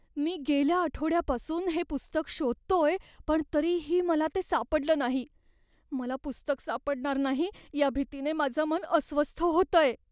मी गेल्या आठवड्यापासून हे पुस्तक शोधतोय पण तरीही मला ते सापडलं नाही. मला पुस्तक सापडणार नाही या भीतीने माझं मन अस्वस्थ होतंय.